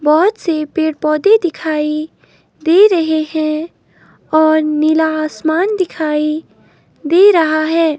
बहोत से पेड़ पौधे दिखाई दे रहे हैं और नीला आसमान दिखाई दे रहा है।